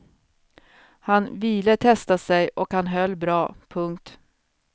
Han vile testa sig och han höll bra. punkt